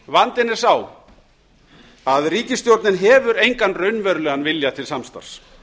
vandinn er sá að ríkisstjórnin hefur engan raunverulegan vilja til samstarfs